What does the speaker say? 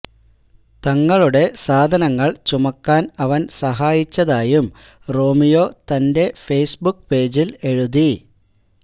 തങ്ങലുടെ സാധനങ്ങള് ചമുക്കാന് അവന് സഹായിച്ചതായും റോമിയോ തന്റെ ഫേസ്ബുക്ക് പേജില് എഴുതി